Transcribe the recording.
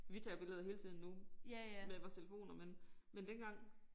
Vi tager jo billeder hele tiden nu med vores telefoner men men dengang